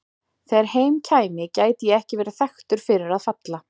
Þegar heim kæmi gæti ég ekki verið þekktur fyrir að falla.